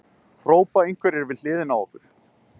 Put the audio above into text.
hrópa einhverjir við hliðina á okkur.